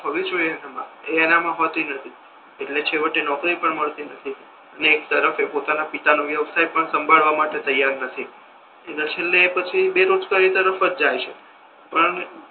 હોવી જોઈએ એનામા એ એનામા હોતી નથી એટલે છેવટે નોકરી પણ નથી મળતી અને એક તરફ એ પોતાના પિતા નો વ્યવસાય સાંભળવા માટે તૈયાર નથી અને છેલ્લે પછી બેરોજગારી તરફ જ જાય છે પણ